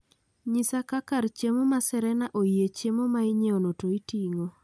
Nyisa ka kar chiemo maserena oyie chiemo mainyiewno to iting'o